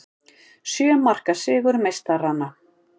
Sjö marka sigur meistaranna